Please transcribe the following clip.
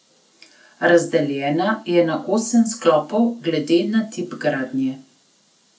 Razdeljena je na osem sklopov glede na tip gradnje.